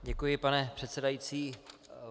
Děkuji, pane předsedající.